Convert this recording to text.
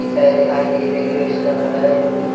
picture दिखाई दे रही है इसका कलर है जो की--